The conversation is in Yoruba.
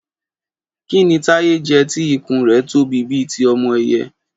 Kí ni Táyé jẹ tí ìkún rẹ̀ tóbi bíi ti ọmọ ẹyẹ?